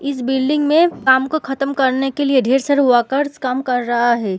इस बिल्डिंग में काम को खत्म करने के लिए ढेर सारे वर्कर्स काम कर रहा है।